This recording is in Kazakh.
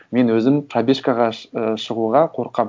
мен өзім пробежкаға і шығуға қорқамын